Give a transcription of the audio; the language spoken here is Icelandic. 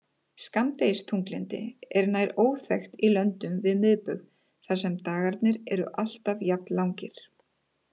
Skammdegisþunglyndi er nær óþekkt í löndum við miðbaug þar sem dagarnir eru alltaf jafn langir.